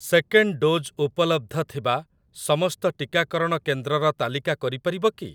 Second dose ଉପଲବ୍ଧ ଥିବା ସମସ୍ତ ଟିକାକରଣ କେନ୍ଦ୍ରର ତାଲିକା କରିପାରିବ କି?